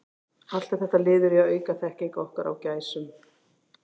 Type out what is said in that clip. Allt er þetta liður í að auka þekkingu okkar á gæsum.